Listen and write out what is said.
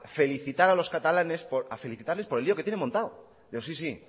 felicitar a los catalanes por a felicitarles por el lío que tienen montado digo sí sí